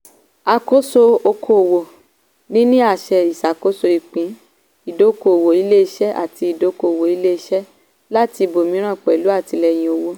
àkóso okòwò - níní àṣẹ ìṣàkoso ìpín ìdókòwò ilé-iṣẹ́ láti ìdókòwò ilé-iṣẹ́ láti ibòmíràn pẹ̀lú àtìlẹ́yìn owó.